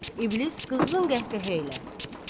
İblis qızğın qəhqəhə ilə: